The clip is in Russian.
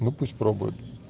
ну пусть пробуют